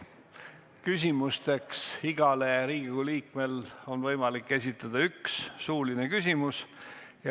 Järgnevad küsimused, igal Riigikogu liikmel on võimalik esitada üks suuline küsimus.